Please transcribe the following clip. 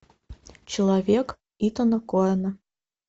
человек итана коэна